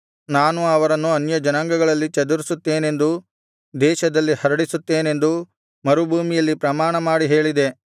ನಾನು ಅವರನ್ನು ಅನ್ಯಜನಾಂಗಗಳಲ್ಲಿ ಚದರಿಸುತ್ತೇನೆಂದೂ ದೇಶದಲ್ಲಿ ಹರಡಿಸುತ್ತೇನೆಂದೂ ಮರುಭೂಮಿಯಲ್ಲಿ ಪ್ರಮಾಣ ಮಾಡಿ ಹೇಳಿದೆ